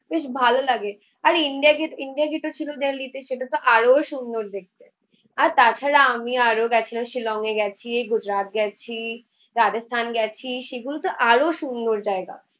বেশ ভালো লাগে আর ইন্ডিয়া গেট, ইন্ডিয়া গেট ও ছিল দিল্লিতে সেটাতো আরো সুন্দর দেখতে। আর তাছাড়া আমি আরও গেছিলাম, শিলং এ গেছি গুজরাট গেছি রাজস্থান গেছি সেগুলোতে আরো সুন্দর জায়গা।